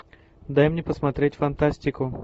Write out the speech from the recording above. дай мне посмотреть фантастику